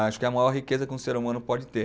Acho que é a maior riqueza que um ser humano pode ter.